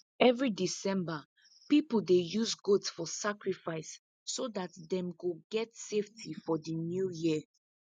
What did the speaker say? every december people dey use goat for sacrifice so dat them go get safety for the new year